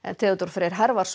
Theodór Freyr